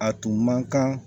A tun man kan